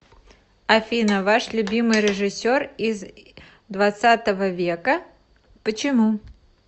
афина ваш любимый режиссер из хх века почему